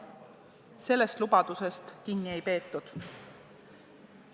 Sellest lubadusest kinni ei peetud.